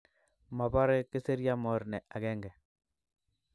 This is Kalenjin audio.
Mabare kisirya morne agenge